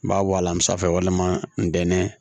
N b'a bɔ a la n be sanfɛ walima ntɛnɛn